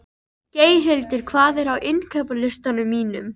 Geirhildur, hvað er á innkaupalistanum mínum?